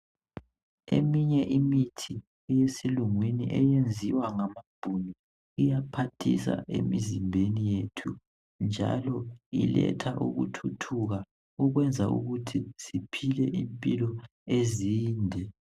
Eminye imithi yesilungwini, eyenziwa ngamaBhunu. Iyaphathisa emizimbeni yethu, njalo. Iletha ukuthuthuka emizimbeni yethu. Njalo yenza siphile impilo ezinde.